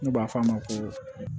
N'u b'a f'a ma ko